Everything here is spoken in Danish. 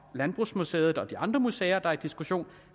landbrugsmuseum og de andre museer der er til diskussion